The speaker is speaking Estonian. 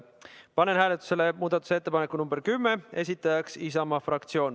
Panen hääletusele muudatusettepaneku nr 10, esitajaks Isamaa fraktsioon.